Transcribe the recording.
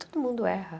Todo mundo erra.